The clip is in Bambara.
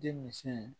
Denmisi